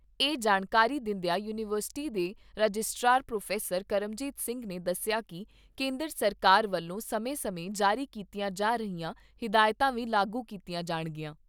ਇਹ ਜਾਣਕਾਰੀ ਦਿੰਦਿਆਂ ਯੂਨੀਵਰਸਿਟੀ ਦੇ ਰਜਿਸਟਰਾਰ ਪ੍ਰੋਫੈਸਰ ਕਰਮਜੀਤ ਸਿੰਗ ਨੇ ਦੱਸਿਆ ਕਿ ਕੇਂਦਰ ਸਰਕਾਰ ਵਲੋਂ ਸਮੇਂ ਸਮੇਂ ਜਾਰੀ ਕੀਤੀਆਂ ਜਾ ਰਹੀਆਂ ਹਿਦਾਇਤਾਂ ਵੀ ਲਾਗੂ ਕੀਤੀਆਂ ਜਾਣਗੀਆਂ।